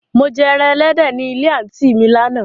Mò jẹ ẹran èléde ní ilẹ̀ àntí mi làna.